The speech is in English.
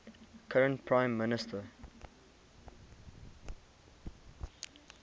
current prime minister